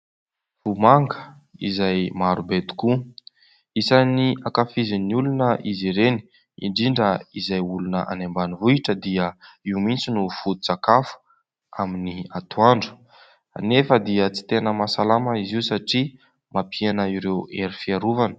Vomanga izay marobe tokoa. Isany ankafizin'ny olona izy ireny indrindra izay olona any ambanivohitra dia io mihitsy no fototsakafo amin'ny atoandro. Anefa dia tsy tena mahasalama izy io satria mampihena ireo hery fiarovana.